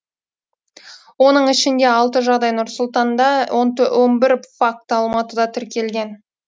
оның ішінде алты жағдай нұр сұлтанда он бір факті алматыда тіркелген